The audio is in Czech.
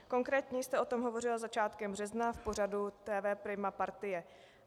Konkrétně jste o tom hovořil začátkem března v pořadu TV Prima Partie.